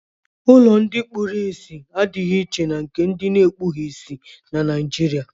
Ụlọ ndị kpuru ìsì adịghị iche na nke ndị ekpughị ìsì na Naịjirịa.